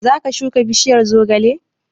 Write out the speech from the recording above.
Zaka shuka bishiyar zogale?